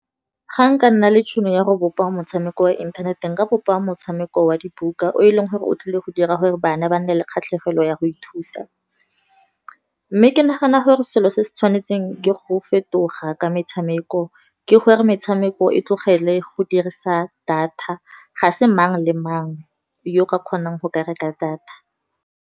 Ga nka nna le tšhono ya go bopa motshameko wa inthanete nka bopa motshameko wa dibuka, o e leng gore o tlile go dira gore bana ba nne le kgatlhegelo ya go ithuta. Mme ke nagana gore se se se tshwanetseng ke go fetoga ka metshameko, ke gore metshameko e tlogele go dirisa data, ga se mang le mang yo ka kgonang go ka reka data.